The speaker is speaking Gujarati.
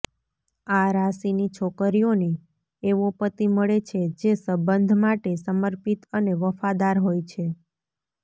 આ રાશિની છોકરીઓને એવો પતિ મળે છે જે સંબંધ માટે સમર્પિત અને વફાદાર હોય છે